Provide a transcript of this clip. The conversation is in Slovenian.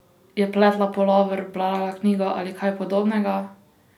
Je pletla pulover, brala knjigo ali kaj podobnega?